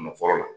Nɔkɔrɔ la